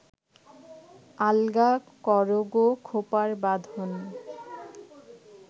আলগা করো গো খোপার বাঁধন